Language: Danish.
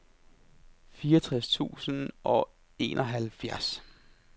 fireogtres tusind og enoghalvfjerds